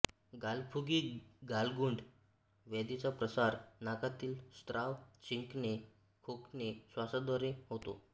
गालफुगी गालगुंड व्याधीचा प्रसार नाकातील स्राव शिंकणे खोकणे श्वासाद्वारे होतो